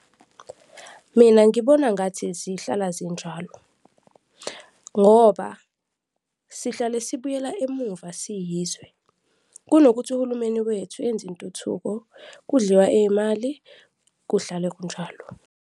Mina ngibona ngathi zihlala zinjalo ngoba sihlale sibuyela emuva siyizwe, kunokuthi uhulumeni wethu enze intuthuko, kudliwa iy'mali, kuhlale kunjalo.